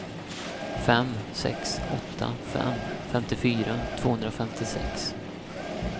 fem sex åtta fem femtiofyra tvåhundrafemtiosex